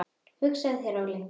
Hugsaðu þér Óli!